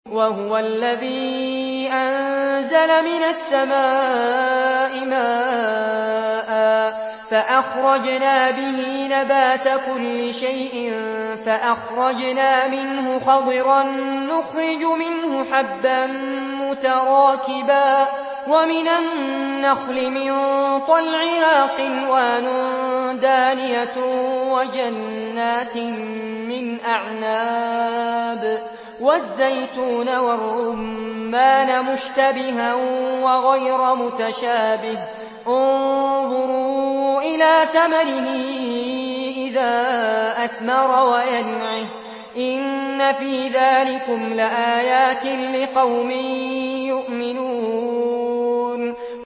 وَهُوَ الَّذِي أَنزَلَ مِنَ السَّمَاءِ مَاءً فَأَخْرَجْنَا بِهِ نَبَاتَ كُلِّ شَيْءٍ فَأَخْرَجْنَا مِنْهُ خَضِرًا نُّخْرِجُ مِنْهُ حَبًّا مُّتَرَاكِبًا وَمِنَ النَّخْلِ مِن طَلْعِهَا قِنْوَانٌ دَانِيَةٌ وَجَنَّاتٍ مِّنْ أَعْنَابٍ وَالزَّيْتُونَ وَالرُّمَّانَ مُشْتَبِهًا وَغَيْرَ مُتَشَابِهٍ ۗ انظُرُوا إِلَىٰ ثَمَرِهِ إِذَا أَثْمَرَ وَيَنْعِهِ ۚ إِنَّ فِي ذَٰلِكُمْ لَآيَاتٍ لِّقَوْمٍ يُؤْمِنُونَ